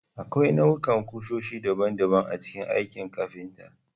Akwai nau'ikan kusoshi daban-daban a cikin aikin kafinta.